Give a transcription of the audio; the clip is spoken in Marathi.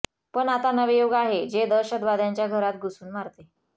पण आता नवे युग आहे जे दहशतवाद्यांच्या घरात घुसून मारते